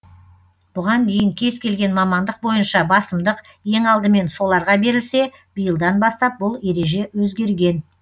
бұған дейін кез келген мамандық бойынша басымдық ең алдымен соларға берілсе биылдан бастап бұл ереже өзгерген